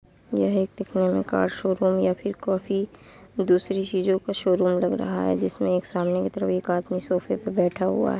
यह एक का शोरूम या फिर कॉफी दूसरी चीजों का शोरूम लग रहा है जिसमे एक सामने कि तरफ एक आदमी सोफ़े पे बैठा हुआ है ।